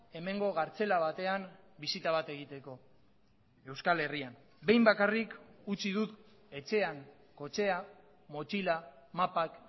hemengo kartzela batean bisita bat egiteko euskal herrian behin bakarrik utzi dut etxean kotxea motxila mapak